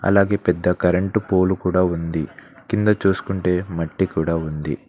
అలాగే పెద్ద current pole కూడా ఉంది కింద చూసుకుంటే మట్టి కూడా ఉంది.